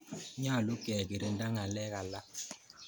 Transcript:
Nyalu kekirinda ng'alek alak